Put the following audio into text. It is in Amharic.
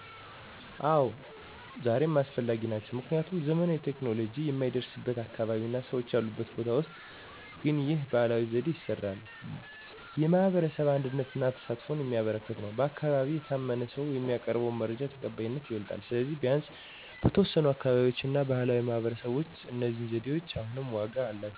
አዎ፣ ዛሬም አስፈላጊ ናቸው። ምክንያቱም 1. ዘመናዊ ቴክኖሎጂ የማይደረስበት አካባቢ እና ሰዎች ያሉበት ቦታ ውስጥ ግን ይህ ባህላዊ ዘዴ ይስራል። 2. የማህበረሰብ አንድነትን እና ተሳትፎን የሚያበረክት ነው። 3. በአካባቢ የታመነ ሰው የሚያቀርበው መረጃ ተቀባይነቱ ይበልጣል። ስለዚህ፣ ቢያንስ በተወሰኑ አካባቢዎች እና በባህላዊ ማህበረሰቦች ውስጥ እነዚህ ዘዴዎች አሁንም ዋጋ አላቸው።